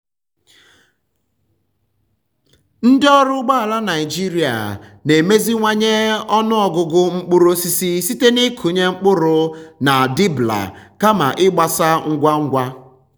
ndị ọrụ ugbo ala naijiria na-emeziwanye ọnụ ọgụgụ mkpụrụ osisi site n'ịkụnye mkpụrụ na um dibbler um kama ịgbasa ngwa ngwa.